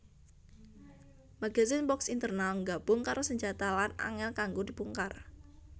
Magazen box internal nggabung karo senjata lan angel kanggo dibongkar